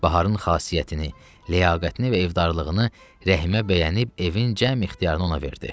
Baharın xasiyyətini, ləyaqətini və evdarlığını Rəhimə bəyənib evin cəm ixtiyarını ona verdi.